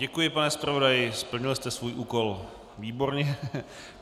Děkuji, pane zpravodaji, splnil jste svůj úkol výborně.